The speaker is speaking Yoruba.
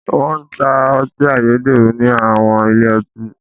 Wọ́n ń ta ọtí ayédèrú ní àwọn ilé ọtí.